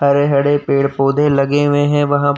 हरे हरे पेड़-पोधे लगे हुये हैं वहां --